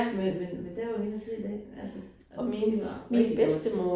Men men men der var vi inde og se den altså og mente, det var rigtig godt